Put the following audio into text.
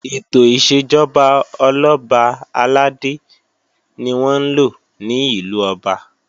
Ètò ìṣèjọba Ọlọ́ba àlàdé ni wọ́n ńlò ní ìlú Ọba